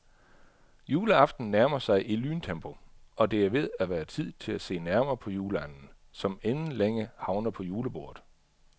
Juleaften nærmer sig i lyntempo, og det er ved at være tid til at se nærmere på juleanden, som inden længe havner på julebordet.